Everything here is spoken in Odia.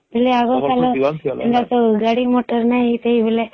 ବୋଲେ ଆଗ କାଲେ ଗାଡି ମଟର ନିଁ ସେଇ ବେଳେ